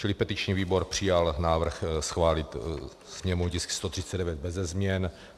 Čili petiční výbor přijal návrh schválit sněmovní tisk 139 beze změn.